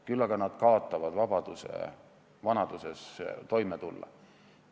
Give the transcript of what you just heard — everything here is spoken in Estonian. Küll aga nad kaotavad võimaluse vanaduses ise toime tulla.